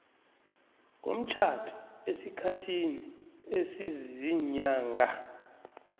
komtjhado esikhathini esiziinyanga